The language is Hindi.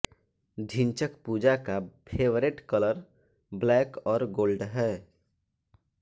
ढिंचक पूजा का फेवरेट कलर ब्लैक और गोल्ड है